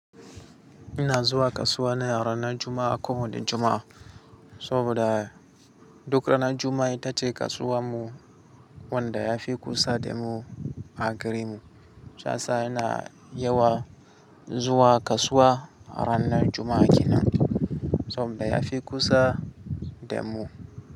Ina zuwa kasuwa ne a ranar Juma'a ko wane Juma'a. Saboda duk ranar Juma'a ita ce kasuwar mu wanda ya fi kusa da mu a garinmu. Shiyasa ina yawan zuwa kasuwa a ranar Juma'a kenan saboda ya fi kusa da mu.